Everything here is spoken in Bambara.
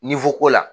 ko la